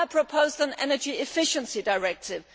has proposed an energy efficiency directive